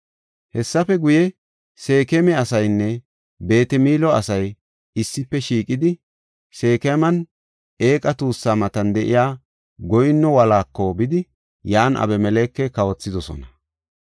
Hessafe guye, Seekema asaynne Beet-Milo asay issife shiiqidi, Seekeman eeqa tuussa matan de7iya goyinno wolaako bidi yan Abimeleke kawothidosona.